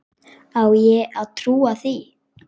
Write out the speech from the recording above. Á ég að trúa því?